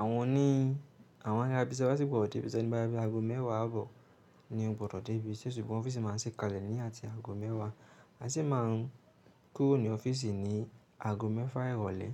Àwọn oní, àwọn alábìsẹ́ gbọ́dọ̀ dé ibiṣẹ́ nígbà bí aago mẹ́wàá àbọ̀ ni o gbọ́dọ̀ dé ibi ṣe ṣùgbọ́n ọ́fíìsì máa ń ṣí kalẹ̀ ní àti aago mẹ́wàá àti ṣe máa ń kúrò ní ọ́fíìsì ní aago mẹ́fà ìrọ̀lẹ́.